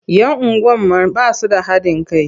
Yan unguwar man ba su da haɗin kai.